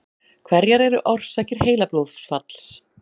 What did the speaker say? Hverjar eru orsakir heilablóðfalls?